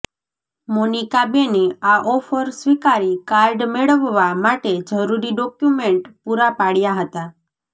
મોનિકાબેને આ ઓફર સ્વિકારી કાર્ડ મેળવવા માટે જરૂરી ડોક્યુમેન્ટ પુરા પાડયા હતા